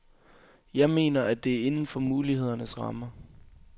Jeg mener, at det er inden for mulighedernes rammer.